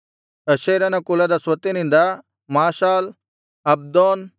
ಅಶೇರನ ಕುಲದ ಸ್ವತ್ತಿನಿಂದ Mashal Abdon